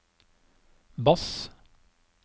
bass